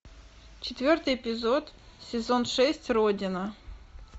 четвертый эпизод сезон шесть родина